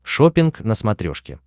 шоппинг на смотрешке